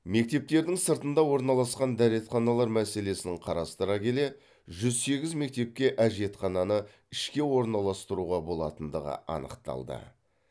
мектептердің сыртында орналасқан дәретханалар мәселесін қарастыра келе жүз сегіз мектепке әжетхананы ішке орналастыруға болатындығы анықталды